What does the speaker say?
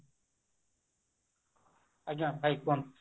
ଆଜ୍ଞା ଭାଇ କୁହନ୍ତୁ